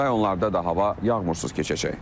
Rayonlarda da hava yağmursuz keçəcək.